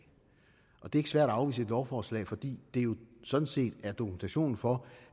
og det er ikke svært at afvise et lovforslag fordi det jo sådan set er dokumentationen for